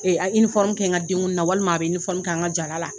a' kɛ n ka denguli na walima a bɛ k'an ka jara la.